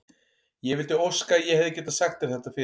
Ég vildi óska að ég hefði getað sagt þér þetta fyrr.